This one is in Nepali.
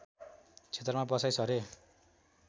क्षेत्रमा बसाइँ सरे